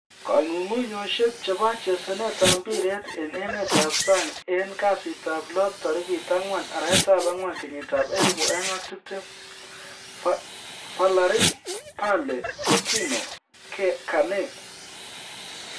Kong'unguyosiek chebo chesanetab mpiret en emetab sang en kasitab lo 04/04/2020: Varane, Bale, Coutinho, Kane